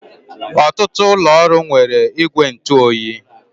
Ọtụtụ ụlọ ọrụ nwere igwe ntụ oyi.